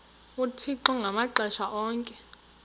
uthixo ngamaxesha onke